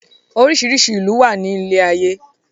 Oríṣiríṣi ìlú ló wà ní ilé ayé.